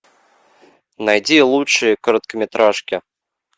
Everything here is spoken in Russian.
найди лучшие короткометражки